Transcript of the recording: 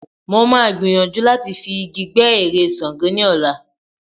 Mo máa gbìyàjú láti fi igi gbẹ́ ère Ṣàngó ní ọ̀la.